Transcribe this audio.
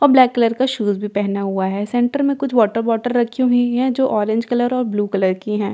और black colour का shoes भी पहना हुआ है सेंटर में कुछ वाटर बोतल रखी हुई है जो ऑरेंज कलर और ब्लू कलर की है।